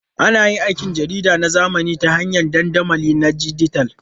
Ana yin aikin jarida na zamani ta hanyar dandamali na dijital.